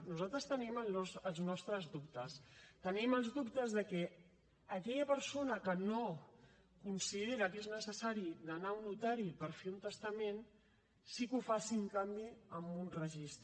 nosaltres tenim els nostres dubtes tenim els dubtes de que aquella persona que no considera que sigui necessari d’anar a un notari per fer un testament sí que ho faci en canvi en un registre